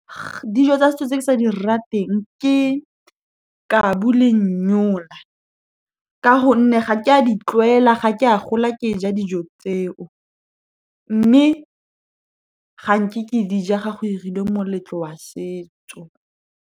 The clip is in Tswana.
Dijo tsa setso tse ke sa di rateng, ke kabu le , ka gonne ga ke a di tlwaela. Ga ke a gola ke ja dijo tseo, mme ga nke ke di ja ga go irilwe moletlo wa setso.